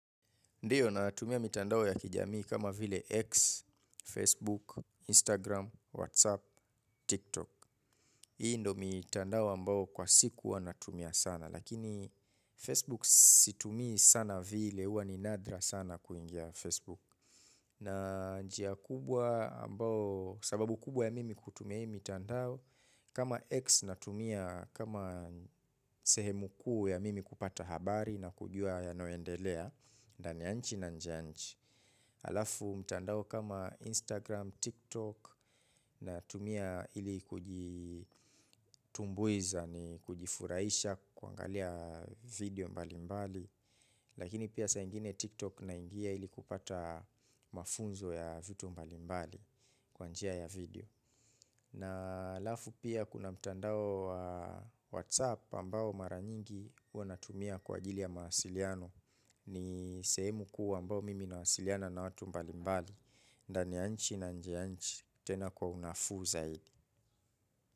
Ndiyo natumia mitandao ya kijamii kama vile X, Facebook, Instagram, Whatsapp, TikTok. Hii ndo mitandao ambao kwa siku huwa natumia sana. Lakini Facebook situmii sana vile, huwa ni nadra sana kuingia Facebook. Na njia kubwa ambao, sababu kubwa ya mimi kutumia hii mitandao. Kama X natumia, kama sehemu kuu ya mimi kupata habari na kujua yanayoendelea. Ndani ya nchi na nje ya nchi, alafu mtandao kama Instagram, TikTok natumia ili kujitumbuiza ni kujifuraisha kuangalia video mbali mbali. Lakini pia saa ingine TikTok naingia ili kupata mafunzo ya vitu mbali mbali kwa njia ya video. Na halafu pia kuna mtandao wa WhatsApp ambao mara nyingi huwa natumia kwa ajili ya mawasiliano. Ni sehemu kuu ambao mimi nawasiliana na watu mbali mbali. Ndani ya nchi na nje ya nchi tena kwa unafuu zaidi.